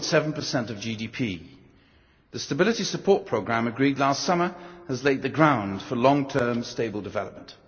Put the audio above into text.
0.7 of GDP. The stability support programme agreed last summer has laid the ground for long term stable development.